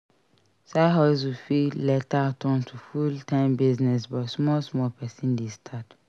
Side hustle fit later turn to full time business but small small person de start